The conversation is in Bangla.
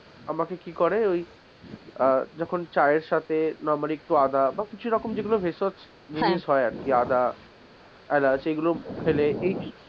আমাকে কি করে ওই আহ যখন চায়ের সাথে normally একটু আদা বা কিছু রকম ভেষজ জিনিস হয় আর কি এরকম আদা এলাচ এইগুলো ফেলে এই,